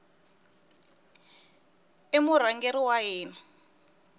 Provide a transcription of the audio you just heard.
i murhangeri wa hina